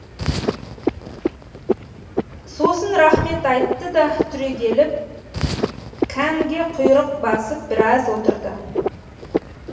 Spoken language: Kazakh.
сосын рахмет айтты да түрегеліп кәнге құйрық басып біраз отырды